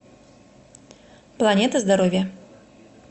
планета здоровья